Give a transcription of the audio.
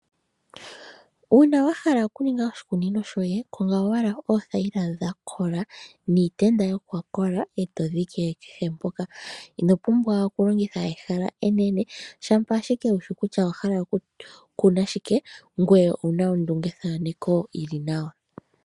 Uuna wa hala okuninga oshikunino shoye, konga owala oothayila dha kola niitenda ya kola e to dhike kehe mpoka wa hala. Ino pumbwa okulongitha ehala enene, shampa ashike wu shi kutya owa hala okukuna shike ngoye owu na ondungethaneko yi li nawa.